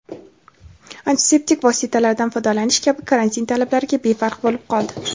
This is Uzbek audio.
antiseptik vositalardan foydalanish kabi karantin talablariga befarq bo‘lib qoldi.